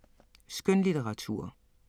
Skønlitteratur